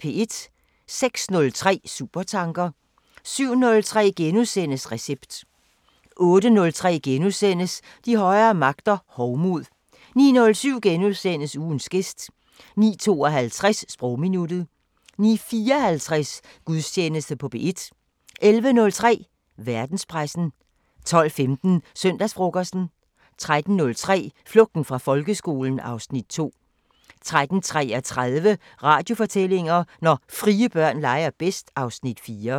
06:03: Supertanker 07:03: Recept * 08:03: De højere magter: Hovmod * 09:07: Ugens gæst * 09:52: Sprogminuttet 09:54: Gudstjeneste på P1 11:03: Verdenspressen 12:15: Søndagsfrokosten 13:03: Flugten fra folkeskolen (Afs. 2) 13:33: Radiofortællinger: Når frie børn leger bedst (Afs. 4)